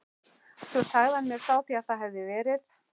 Svo sagði hann mér frá því að það hefði verið